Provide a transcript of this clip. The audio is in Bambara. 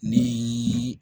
Ni